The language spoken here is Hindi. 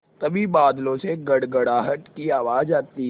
तभी बादलों से गड़गड़ाहट की आवाज़ आती है